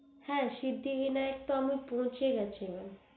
হ্যা সিদ্ধিবিনায়ক তো আমি পৌঁছে গেছি mam